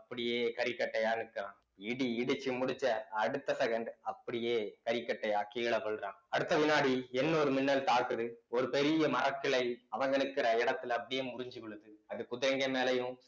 அப்படியே கரிக்கட்டையா நிற்கிறான் இடி இடிச்சு முடிச்ச அடுத்த second அப்படியே கரிக்கட்டையா கீழே விழ்றான் அடுத்த வினாடி இன்னோறு மின்னல் தாக்குது ஒரு பெரிய மரக்கிளை அவுங்க நிக்கிற இடத்துல அப்படியே முறிஞ்சு விழுது அது குதிரைங்க மேலேயும்